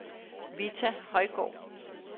Vita Højgaard